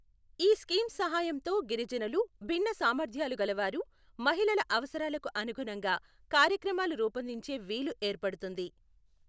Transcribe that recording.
ఈ స్కీమ్స హాయంతో గిరిజనులు, భిన్న సామర్థ్యాలుగలవారు, మహిళల అవసరాలకు అనుగుణంగా కార్యక్రమాలు రూపొందించే వీలు ఏర్పడుతుంది.